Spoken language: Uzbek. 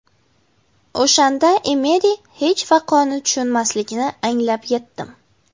O‘shanda Emeri hech vaqoni tushunmasligini anglab yetdim.